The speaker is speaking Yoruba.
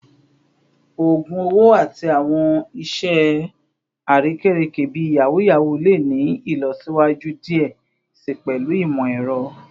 ogun owo ati awọn iṣe arekereke bii yahoo yahoo le ni ilọsiwaju diẹ sii pẹlu imọ-ẹrọ